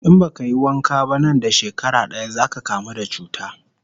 In baka yi wanka ba nan da shekara daya zaka kamu da cuta